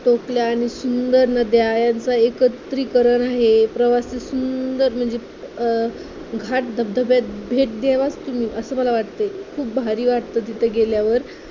टेकड्या आणि सुंदर नद्या याचे एकत्रीकरण आहे. प्रवासात सुंदर म्हणजे अं घाट धबधब्यात भेट द्यावंच तुम्ही असं मला वाटतंय खूप भारी वाटत तिथे गेल्यावर